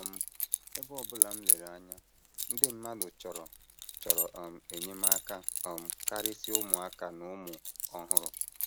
“ um Ebe ọ bụla m lere anya, ndị mmadụ chọrọ chọrọ um enyemaka um karịsịa ụmụaka na ụmụ ọhụrụ.